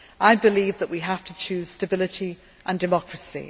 I believe that we have to choose stability and democracy